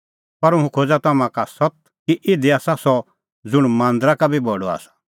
पर हुंह खोज़ा तम्हां का सत्त कि इधी आसा सह ज़ुंण मांदरा का बी बडअ आसा